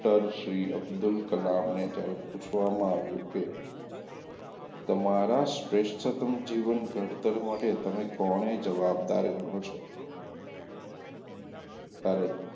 doctor Shri Abdul Kalam ને પૂછવામાં આવ્યું કે તમારાં શ્રેષ્ઠતમ જીવન ઘડતર માટે તમે કોને જવાબદાર ગણો છો? ત્યારે,